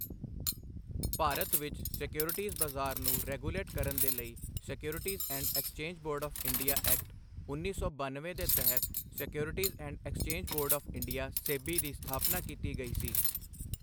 ਭਾਰਤ ਵਿੱਚ ਸਕਿਓਰਿਟੀਜ਼ ਬਜ਼ਾਰ ਨੂੰ ਰੈਗੂਲੇਟ ਕਰਨ ਦੇ ਲਈ securities and exchange board of India act, ਉੱਨੀ ਸੌ ਬਨਵੇਂ ਦੇ ਤਹਿਤ securities and exchange board of India SEBI ਦੀ ਸਥਾਪਨਾ ਕੀਤੀ ਗਈ ਸੀ।